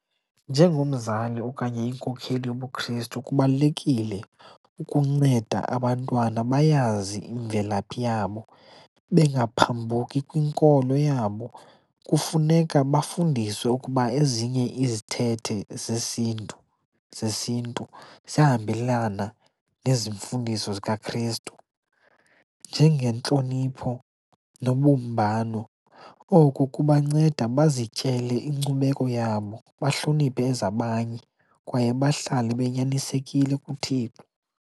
Njengomzali okanye inkokheli yobuKristu kubalulekile ukunceda abantwana bayazi imvelaphi yabo, bengaphambuki kwinkolo yabo. Kufuneka bafundiswe ukuba ezinye izithethe sesiNtu zesiNtu ziyahambelana nezi mfundiso zikaKrestu njengentlonipho nobumbano. Oko kubanceda bazityele inkcubeko yabo, bahloniphe ezabanye kwaye bahlale banyanisekile kuThixo.